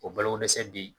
O balo dɛsɛ bi